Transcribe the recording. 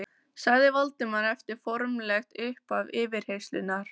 sagði Valdimar eftir formlegt upphaf yfirheyrslunnar.